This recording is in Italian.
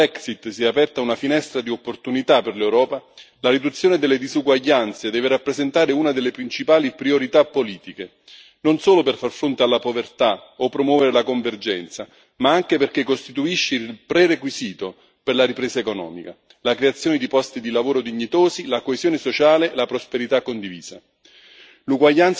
Se è vero che con la Brexit si è aperta una finestra di opportunità per l'Europa, la riduzione delle disuguaglianze deve rappresentare una delle principali priorità politiche, non solo per far fronte alla povertà o promuovere la convergenza, ma anche perché costituisce il prerequisito per la ripresa economica, la creazione di posti di lavoro dignitosi, la coesione sociale e la prosperità condivisa.